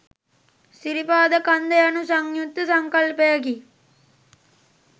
සිරිපාද කන්ද යනු සංයුක්ත සංකල්පයකි